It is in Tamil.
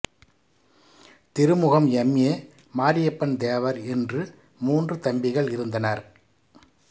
Thirumugam M A Mariappan Thevar என்று மூன்று தம்பிகள் இருந்தனர்